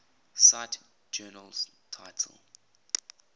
cite journal title